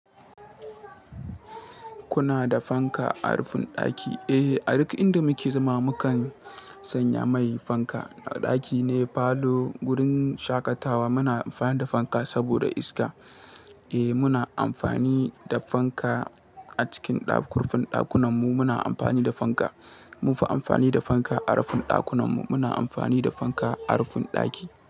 Kuna da fanka a rufin ɗaki? Eh, a duk inda muke zama mukan sanya mai fanka. A ɗaki ne, falo, gurin shaƙatawa muna amfani da fanka saboda iska. Eh, muna amfani da fanka a cikin kurfin ɗakunanmu muna amfani da fanka. Munfi amfani da fanka a rufin ɗakunanmu. Muna amfani da fanka a rufin ɗaki.